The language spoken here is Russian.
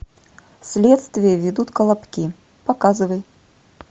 следствие ведут колобки показывай